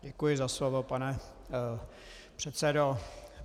Děkuji za slovo, pane předsedo.